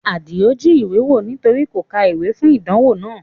Adio jí ìwé wò nítorí kò ka ìwé fún ìdánwò náà